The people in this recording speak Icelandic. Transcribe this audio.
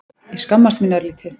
Ég skammaðist mín örlítið.